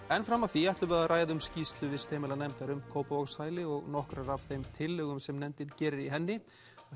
en fram að því ætlum við að ræða um skýrslu vistheimilanefndar um Kópavogshæli og nokkrar af þeim tillögum sem nefndin gerir í henni